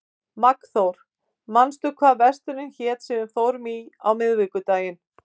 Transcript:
Magnþór, manstu hvað verslunin hét sem við fórum í á miðvikudaginn?